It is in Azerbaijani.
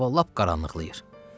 Hava lap qaranlıqlayır.